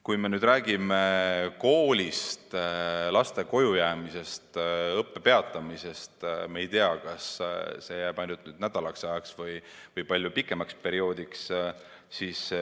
Kui me räägime koolist, laste kojujäämisest ja õppe peatamisest, siis me ei tea, kas see jääb nii ainult nädalaks või palju pikemaks perioodiks.